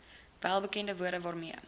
welbekende woorde waarmee